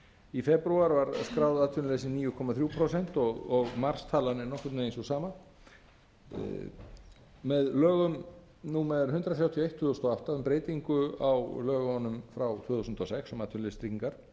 í febrúar var skráð atvinnuleysi níu komma þrjú prósent og marstalan er nokkurn vegin sú sama með lögum númer hundrað þrjátíu og eitt tvö þúsund og átta um breytingu á lögunum frá tvö þúsund og sex um atvinnuleysistryggingar